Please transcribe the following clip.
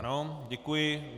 Ano, děkuji.